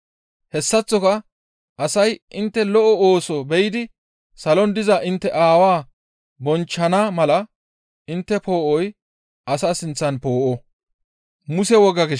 Hessaththoka asay intte lo7o ooso be7idi salon diza intte Aawaa bonchchana mala intte poo7oy asa sinththan poo7o.